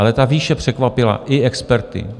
Ale ta výše překvapila i experty.